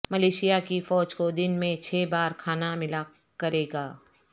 Malaysia کی فوج کو دن میں چھ بار کھانا ملا کرے گا